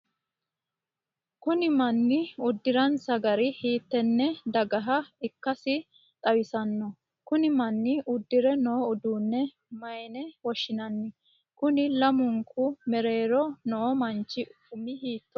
Konni manni udiransa gari hiitenne dagaha ikasi xawisano? Kunni manni udire noo uduunne mayine woshinnanni? Konni lamunku mereero noo manchi umi hiitooho?